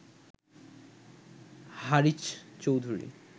Haris Chowdhury